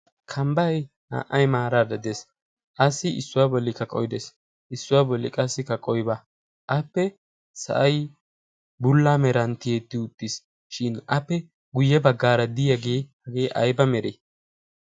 kambbai naa"ay maaraara dees. assi issuwaa boli ka qoidees issuwaa boli qassi ka qoiba appe sa'ay bulla meranttiyeetti uttiis. shin appe guyye baggaara diyaagee hagee aiba meree?